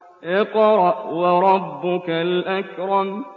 اقْرَأْ وَرَبُّكَ الْأَكْرَمُ